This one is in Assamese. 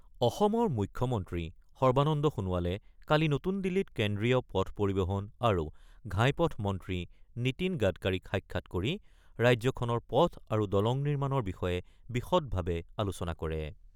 অসমৰ মুখ্যমন্ত্ৰী সৰ্বানন্দ সোণোৱালে কালি নতুন দিল্লীত কেন্দ্ৰীয় পথ পৰিবহন আৰু ঘাইপথ মন্ত্ৰী নীতীন গাডকাৰীক সাক্ষাৎ কৰি ৰাজ্যখনৰ পথ আৰু দলং নিৰ্মাণৰ বিষয়ে বিশদভাৱে আলোচনা কৰে।